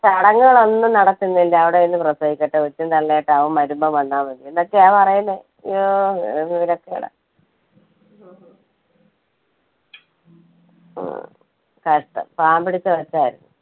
ചടങ്ങുകൾ ഒന്നും നടത്തുന്നില്ല അവിടെ നിന്ന് പ്രസവിക്കട്ടെ. കൊച്ചും തള്ളയും ആയിട്ട് അവൻ വരുമ്പോ വന്നാമതി എന്നൊക്കെയാ പറയുന്നേ. ഇയ്യോഹ് എന്തൊരു വിവരക്കേടാ ഉം കഷ്ടം പാവം പിടിച്ച കൊച്ചായിരുന്നു.